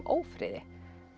ófriði